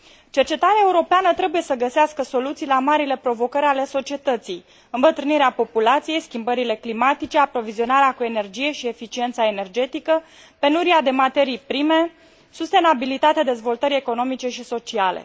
Cercetarea europeană trebuie să găsească soluții la marile provocări ale societății îmbătrânirea populației, schimbările climatice, aprovizionarea cu energie și eficiența energetică, penuria de materii prime, sustenabilitatea dezvoltării economice și sociale.